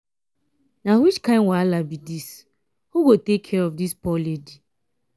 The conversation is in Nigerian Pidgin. na which kin wahala be dis. who go take care of dis poor lady.